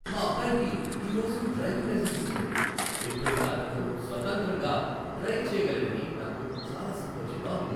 మా అబ్బాయికి ఈ రోజు డ్రైవింగ్ లైసెన్స్ వచ్చింది, ఇప్పుడింక అతను స్వతంత్రంగా డ్రైవ్ చేయగలడని నాకు చాలా సంతోషంగా ఉంది.